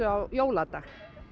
á jóladag